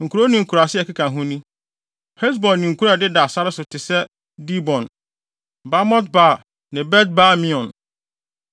Nkurow ne nkuraase a ɛkeka ho ni: Hesbon ne nkurow a ɛdeda sare so te sɛ Dibon, Bamot-Baal ne Bet-Baal-Meon,